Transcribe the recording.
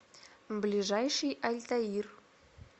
ближайший альтаир